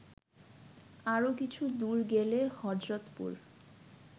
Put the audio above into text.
আরও কিছু দূর গেলে হযরতপুর